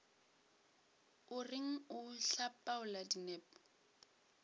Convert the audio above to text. o reng o hlapaola dinepo